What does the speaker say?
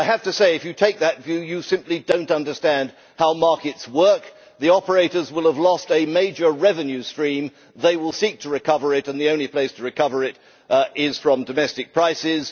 I have to say that if you take that view, you simply do not understand how markets work the operators will have lost a major revenue stream, they will seek to recover it, and the only place to recover it is from domestic prices.